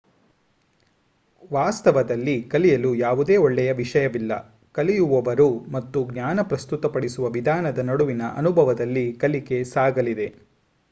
ವಾಸ್ತವದಲ್ಲಿ ಕಲಿಯಲು ಯಾವುದೇ ಒಳ್ಳೆಯ ವಿಷಯವಿಲ್ಲ ಕಲಿಯುವವರು ಮತ್ತು ಜ್ಞಾನ ಪ್ರಸ್ತುತಪಡಿಸುವ ವಿಧಾನದ ನಡುವಿನ ಅನುಭವದಲ್ಲಿ ಕಲಿಕೆ ಸಾಗಲಿದೆ